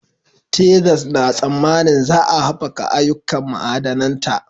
Texas na tsammanin za a haɓaka ayyukan ma'adananta